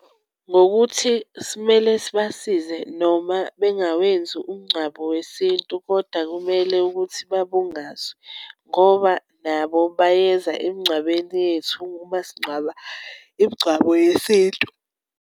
Ngokuthi simele sibasize, noma bengawenzi umngcwabo wesintu, kodwa kumele ukuthi babungazwe, ngoba nabo bayeza emngcwabeni yethu, uma singcwaba, imingcwabo yesintu.